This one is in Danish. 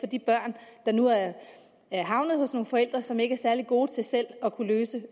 de børn der nu er er havnet hos nogle forældre som ikke er særlig gode til selv at kunne løse